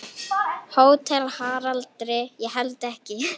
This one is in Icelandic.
HÓTELHALDARI: Ég held ekki.